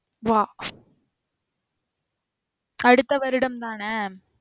வா. அடுத்த வருடம் தான?